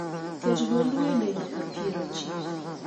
ket duond wende nyaka pier ochiko